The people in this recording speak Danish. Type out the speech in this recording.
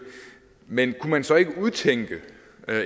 men kunne man så ikke udtænke